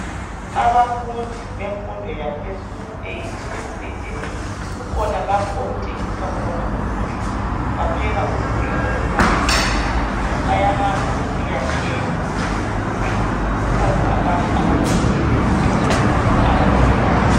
Abafundi bemfundo yaphezulu euniversity kukhona lapho okuthengiswa khona ukudla bapheka ukudla okumnandi kakhulu bayahamba besiya thenga ukudla kukhona abantu abagqoke ezimhlophe abaphekayo.